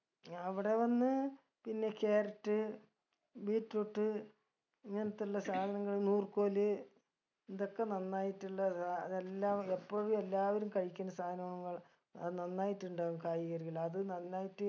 ഞാ ഇവിടെ വന്ന് പിന്നെ carrot beetroot ഇങ്ങനത്തുള്ള സാധനങ്ങൾ നൂർക്കോല് ഇതൊക്കെ നന്നായിട്ടുള്ള ദാ ഇതെല്ലാം എപ്പഴും എല്ലാവരും കഴിക്കുന്ന സാനങ്ങൾ അത് നന്നായിട്ടുണ്ടാകും കായ്കനികൾ അത് നന്നായിട്ട്